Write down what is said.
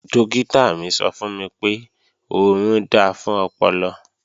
Dọ́kítà mi sọ fún mi pé, orun da fún ọpọlọ